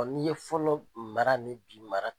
N'i ye fɔlɔ mara ni bi mara